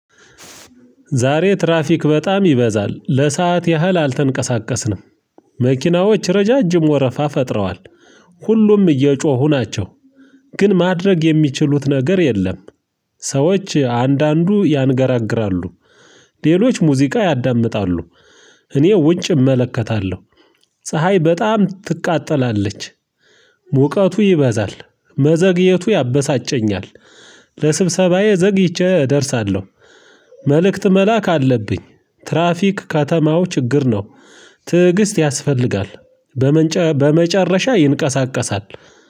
ዛሬ ትራፊክ በጣም ይበዛል ለሰአት ያህል አልተንቀሳቀስንም። መኪናዎች ረዣዥም ወረፋ ፈጥረዋል። ሁሉም እየጮሁ ናቸው። ግን ማድረግ የሚችሉት ነገር የለም። ሰዎች አንዳንዱ ያንገራግራሉ። ሌሎች ሙዚቃ ያዳምጣሉ። እኔ ውጭ እመለከታለሁ። ፀሀይ በጣም ትቃጠላለች። ሙቀቱ ይበዛል መዘግየቱ ያበሳጨኛል። ለስብሰባዬ ዘግይቼ እደርሳለሁ። መልእክት መላክ አለብኝ። ትራፊክ ከተማው ችግር ነው። ትዕግስት ያስፈልጋል። በመጨረሻ ይንቀሳቀሳል